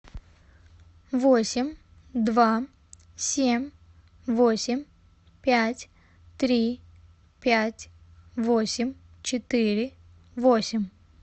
восемь два семь восемь пять три пять восемь четыре восемь